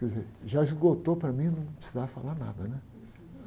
Quer dizer, já esgotou para mim e eu não precisar falar nada, né?